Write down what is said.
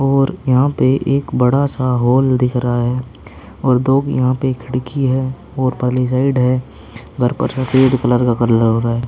और यहां पे एक बडा सा हॉल दिख रहा है और दो यहां पे खिड़की है और पली साईड है घर पैर सफ़ेद कलर का कल लगरा है।